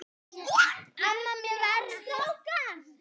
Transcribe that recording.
Hvenær verður þingi frestað, Einar?